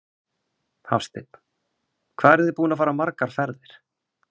Hafsteinn: Hvað eruð þið búin að fara margar ferðir?